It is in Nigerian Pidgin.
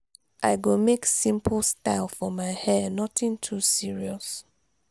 i go make simple style for my hair nothing too serious.